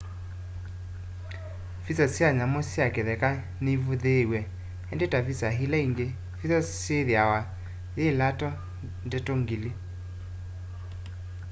visa sya nyamu sya kitheka nivuthiiw'e indi ta visa ila ingi visa yithiawa yi lato ndeto ngili